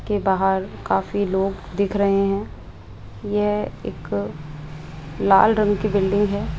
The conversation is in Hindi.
के बाहर काफी लोग दिख रहे हैं यह एक लाल रंग की बिल्डिंग है।